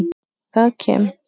Það kem